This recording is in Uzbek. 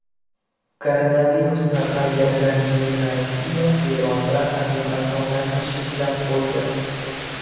Koronavirus tarqalganidan keyin Rossiya Eron bilan aviaqatnovlarni cheklab qo‘ydi.